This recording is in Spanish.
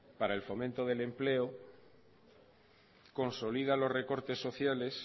para el fomento del empleo consolida los recortes sociales